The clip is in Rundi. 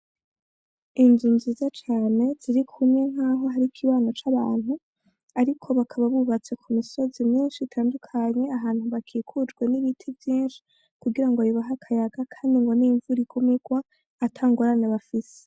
Inzu nziza cane ziri kumwe ni aho hari ikibano c'abantu ariko bakaba bubatse ku misozi myinshi itandukanye, ahantu bakikujwe n'ibiti vyinshi kugira bibahe akayaga kandi ngo n'imvura igume irwa ata ngorane bafise.